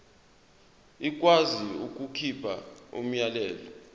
ikwazi ukukhipha umyalelo